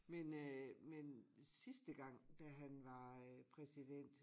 Men øh me sidste gang da han var øh præsident